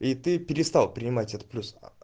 и ты перестал принимать от плюс